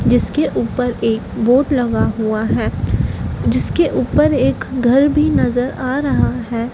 जिसके ऊपर एक बोड लगा हुआ है जिसके ऊपर एक घर भी नजर आ रहा है।